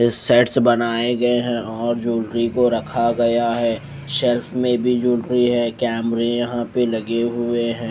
इस सेट्स बनाए गए हैं और जूलरी को रखा गया है शेल्फ में भी ज्वेलरी है कैमरे यहाँ पे लगे हुए हैं।